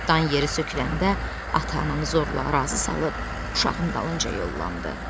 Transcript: Dan yeri söküləndə ata-ananı zorla razı salıb uşağın dalınca yollandı.